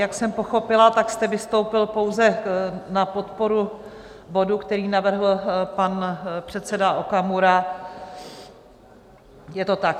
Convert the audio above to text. Jak jsem pochopila, tak jste vystoupil pouze na podporu bodu, který navrhl pan předseda Okamura, je to tak?